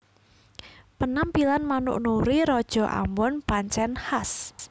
Penampilan manuk Nuri raja ambon pancèn khas